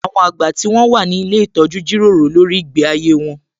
Àwọn àgbà tí wón wà ní ilé ìtọ́jú jíròrò lórí ìgbé ayé wón